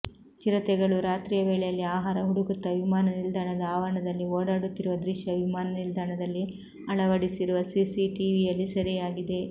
ಚಿರತೆಗಳೂ ರಾತ್ರಿಯ ವೇಳೆಯಲ್ಲಿ ಆಹಾರ ಹುಡುಕುತ್ತ ವಿಮಾನ ನಿಲ್ದಾಣದ ಆವರಣದಲ್ಲಿ ಓಡಾಡುತ್ತಿರುವ ದೃಶ್ಯ ವಿಮಾನ ನಿಲ್ದಾಣದಲ್ಲಿ ಅಳವಡಿಸಿರುವ ಸಿಸಿಟಿವಿಯಲ್ಲಿ ಸೆರೆಯಾಗಿದೆ